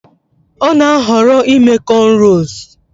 Ọ na-ahọrọ ime cornrows